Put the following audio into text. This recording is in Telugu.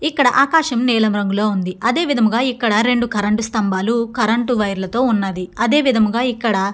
ఇక్కడ ఆకాశం నీలం రంగులో ఉంది. అదే విధముగా ఇక్కడ రెండు కరెంటు స్తంభాలు కరెంటు వైర్ లతో ఉన్నది అదే విధముగా ఇక్కడ --